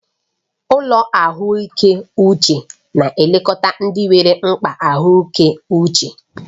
Ụlọ ahụike uche na-elekọta ndị nwere mkpa ahụike uche.